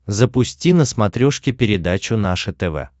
запусти на смотрешке передачу наше тв